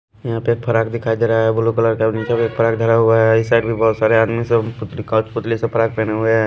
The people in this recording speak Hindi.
यहाँ पे एक फराक दिखाई दे रहा है ब्लू कलर का और नीचे भी एक फराक धरा हुआ है इस साइड भी बहुत सारे आदमी सब पुतली सा फ्राक पहने हुए हैं।